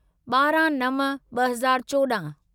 ॿारहं नव ॿ हज़ार चोॾहं